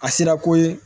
A sera ko ye